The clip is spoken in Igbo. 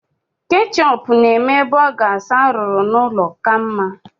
Ketchup na-eme borgas arụrụ n'ụlọ ka mma.